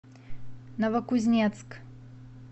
новокузнецк